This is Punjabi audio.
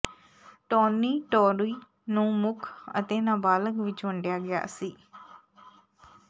ਟੌਨੀਟੋਰੀ ਨੂੰ ਮੁੱਖ ਅਤੇ ਨਾਬਾਲਗ ਵਿਚ ਵੰਡਿਆ ਗਿਆ ਸੀ